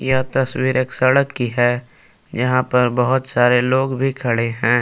यह तस्वीर एक सड़क की है यहाँ पर बहुत सारे लोग भी खड़े हैं।